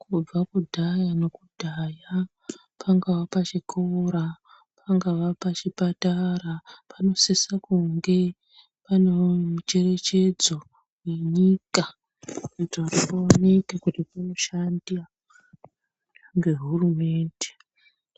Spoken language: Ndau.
Kubva kudhaya nokudhaya pangaa pachikora pangaa pachipatara panosisa kunge pane mucherechedzo wenyika kuitira kuti paoneke panoshanda ngehurumende